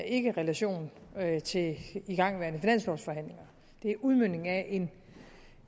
ikke relation til igangværende finanslovforhandlinger det er udmøntning af en